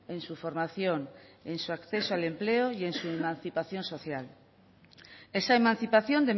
en su formación en su acceso al empleo y en su emancipación social esa emancipación